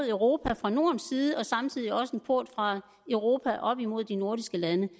europa fra nordens side og samtidig også en port fra europa op imod de nordiske lande